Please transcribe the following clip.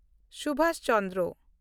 Subhas Chandra